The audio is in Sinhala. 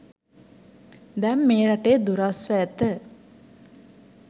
දැන් මේ රටේ දුරස්ව ඇත.